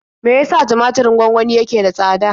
Me ya sa tumaturin gwangwani yake da tsada?